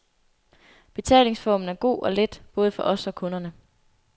Betalingsformen er god og let, både for os og kunderne.